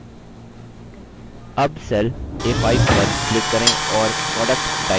अब cell a5 पर click करें और product type करें